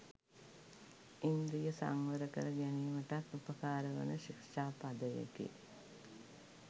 ඉන්ද්‍රිය සංවර කර ගැනීමටත් උපකාරවන ශික්‍ෂා පදයකි.